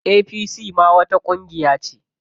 APC ma wata ƙungiya ce.